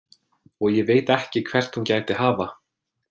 Og ég veit ekki hvert hún gæti hafa.